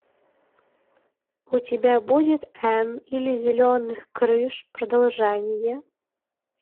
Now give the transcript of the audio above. у тебя будет энн из зеленых крыш продолжение